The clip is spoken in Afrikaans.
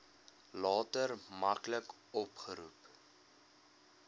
later maklik opgeroep